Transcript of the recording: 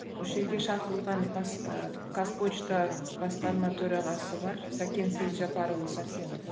осы жерге шақырылған бас ы қазпошта басқарма төрағасы бар сәкен сейітжаппарұлы сәрсенов